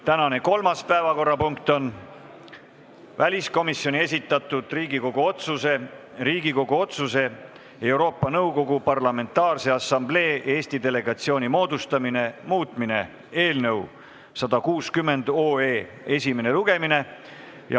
Tänane kolmas päevakorrapunkt on väliskomisjoni esitatud Riigikogu otsuse "Riigikogu otsuse "Euroopa Nõukogu Parlamentaarse Assamblee Eesti delegatsiooni moodustamine" muutmine" eelnõu 160 esimene lugemine.